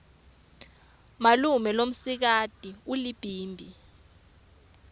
malume lomsikati ulibhimbi